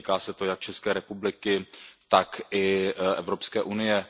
Týká se to jak České republiky, tak i Evropské unie.